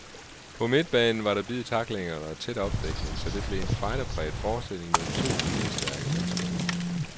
På midtbanen var der bid i tacklingerne og tæt opdækning, så det blev en fighter præget forestilling mellem to viljestærke mandskaber.